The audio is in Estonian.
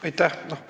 Aitäh!